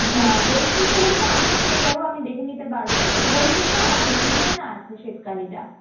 যা হৈচৈতে হলে তো আমিও পেয়ে যাব আমি দেখে নিতে পারব but হইচইতে আমার মনে হয়না আছে শ্বেতকালীটা